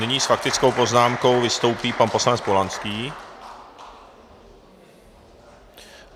Nyní s faktickou poznámkou vystoupí pan poslanec Polanský.